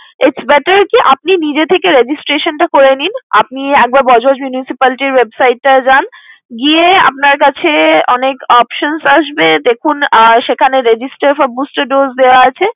It's better কি আপনি নিজে থেকে registration টা করে নিন। আপনি একবার বজবজ municipality র website টায় যান, গিয়ে আপনার কাছে অনেক options আসবে। দেখুন আহ সেখানে register from booster dose দেয়া আছে।